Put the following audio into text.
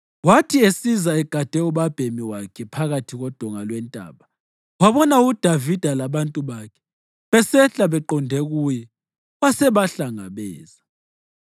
Wathi esiza egade ubabhemi wakhe phakathi kodonga lwentaba, wabona uDavida labantu bakhe besehla beqonde kuye, wasebahlangabeza.